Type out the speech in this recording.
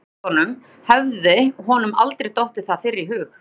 Því í ósköpunum hafði honum aldrei dottið það fyrr í hug?